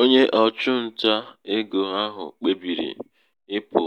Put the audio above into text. onye ̣ọchụ nta egō ahụ̀ kpebìrì ịpụ̀